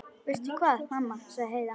Veistu hvað, mamma, sagði Heiða.